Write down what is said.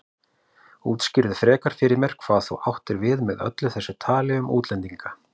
Útskýrðu frekar fyrir mér hvað þú áttir við með öllu þessu tali um útlendinga.